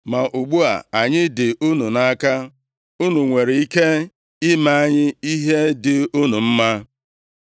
Ma ugbu a, anyị dị unu nʼaka. Unu nwere ike ime anyị ihe dị unu mma.”